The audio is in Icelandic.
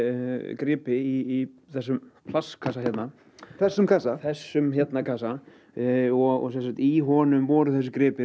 gripi í þessum plastkassa hérna þessum kassa þessum kassa og í honum voru þessi gripir